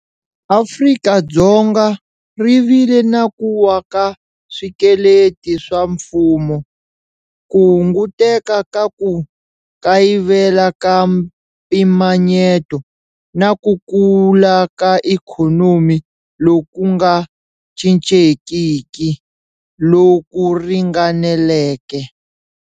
Afrika-Dzonga ri vile na ku wa ka swikweleti swa mfumo, ku hunguteka ka ku kayivela ka mpimanyeto, na ku kula ka ikhonomi loku nga cincekiki, loku ringaneleke.